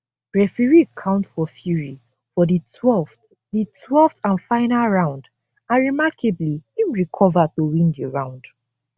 referee count for fury for di 12th di 12th and final round and remarkably im recova to win di round